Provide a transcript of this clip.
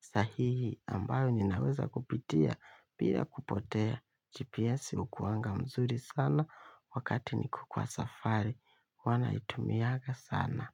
Sahihi ambayo ninaweza kupitia, pia kupotea. GPS huwa nzuri sana wakati niko kwa safari, huwa naitumia sana.